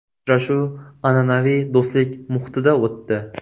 Uchrashuv an’anaviy do‘stlik muhitida o‘tdi.